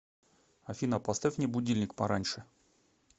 афина поставь мне будильник пораньше